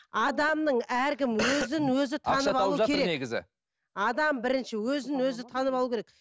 адамның әркім өзін өзі адам бірінші өзін өзі танып алу керек